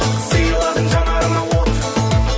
сыйладың жанарыма от